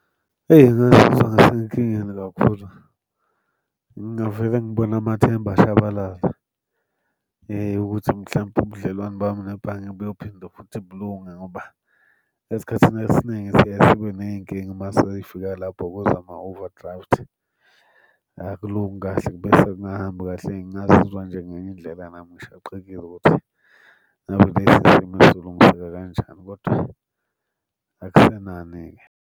Eyi, ngingazizwa ngisenkingeni kakhudlwana, ngingavele ngibone amathemba eshabalala ukuthi mhlampe ubudlelwane bami nebhange buyophinde futhi bulunge ngoba esikhathini esiningi siye sibe ney'nkinga uma sey'fika lapho kwezama-overdraft. Akulungi kahle bese kungahambi kahle. Eyi ngingazizwa nje ngenye indlela nami ngishaqekile ukuthi ngabe lesi simo sizolungiseka kanjani, kodwa akusenani-ke.